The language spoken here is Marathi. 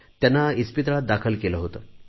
त्यांना हॉस्पिटलमध्ये दाखल केले होते